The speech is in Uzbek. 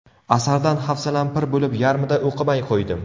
Asardan hafsalam pir bo‘lib, yarmida o‘qimay qo‘ydim.